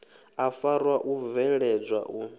u faṱwa u bveledzwa u